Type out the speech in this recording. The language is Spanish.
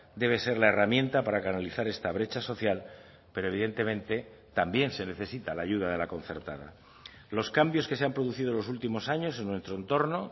debe ser la herramienta para canalizar esta brecha social pero evidentemente también se necesita la ayuda de la concertada los cambios que se han producido en los últimos años en nuestro entorno